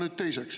Seda teiseks.